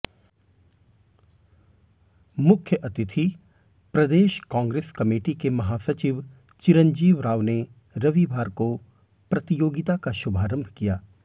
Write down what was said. मुख्यातिथि प्रदेश कांग्रेस कमेटी के महासचिव चिरंजीव राव ने रविवार को प्रतियोगिता का शुभारंभ किया